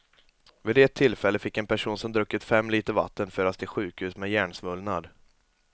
Vid ett tillfälle fick en person som druckit fem liter vatten föras till sjukhus med hjärnsvullnad.